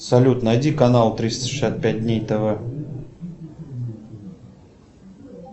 салют найди канал триста шестьдесят пять дней тв